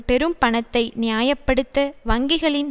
பெரும் பணத்தை நியாய படுத்த வங்கிகளின்